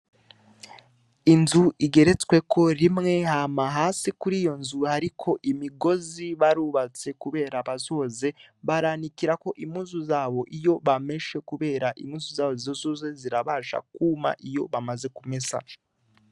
Inzu igeretsweko rimwe hama hasi kur'iyo nzu hariko imigozi barubatse kubera bazoze baranikirako impuzu zabo iyo bameshe kubera impuzu zabo zizoze zirabasha kuma iyo bamaze kumesa.